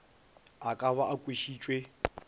a ka ba a kwešitšwe